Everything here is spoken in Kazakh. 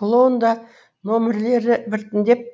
клоунада нөмірлері біртіндеп